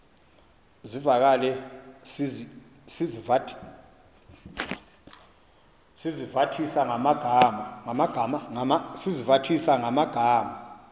zivakale sizivathisa ngamagama